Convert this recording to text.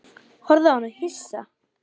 Horfði á hana hissa.